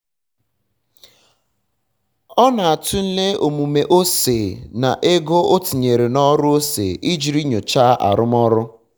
ọ na-atụle omume ose na ego o tinyere n'ọrụ ose ijiri nyochaa arụmọrụ